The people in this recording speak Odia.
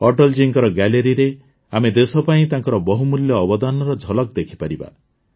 ଅଟଳ ଜୀଙ୍କ ଗ୍ୟାଲେରୀରେ ଆମେ ଦେଶ ପାଇଁ ତାଙ୍କର ବହୁମୂଲ୍ୟ ଅବଦାନର ଝଲକ ଦେଖିପାରିବା